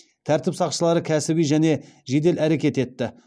тәртіп сақшылары кәсіби және жедел әрекет етті